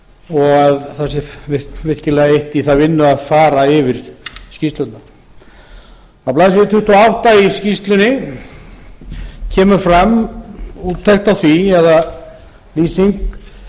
og það sé virkilega eytt í það vinnu að fara yfir skýrsluna á blaðsíðu tuttugu og átta í skýrslunni kemur fram úttekt á því eða lýsing